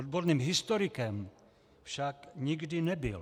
Odborným historikem však nikdy nebyl.